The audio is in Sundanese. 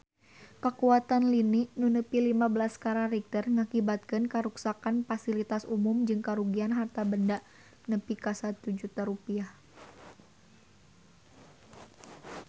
Kakuatan lini nu nepi lima belas skala Richter ngakibatkeun karuksakan pasilitas umum jeung karugian harta banda nepi ka 1 juta rupiah